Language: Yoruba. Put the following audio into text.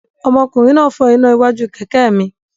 Ọmọkùnrin náà fọ́ iná iwájú kẹ̀kẹ́ mi.